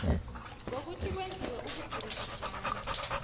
ngokuthi kwenziwe ubukirikitjani